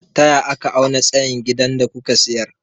Taya aka auna tsayin gidan da kuka sayar?